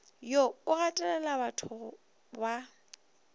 wo o gatelela gorebatho ba